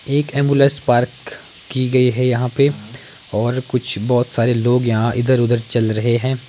एक ambulance park की गई है यहां पे और कुछ बहुत सारे लोग यहां इधर-उधर चल रहे हैं।